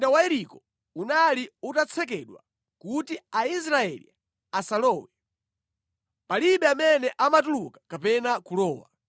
Tsono mzinda wa Yeriko unali utatsekedwa kuti Aisraeli asalowe. Palibe amene amatuluka kapena kulowa.